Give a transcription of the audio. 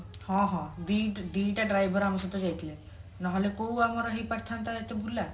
ହଁ ହଁ ଦି ଦିଟା driver ଆମ ସହିତ ଯାଇଥିଲେ ନହେଲେ କୋଉ ଆମର ହେଇ ପାରିଥାନ୍ତା ଏତେ ବୁଲା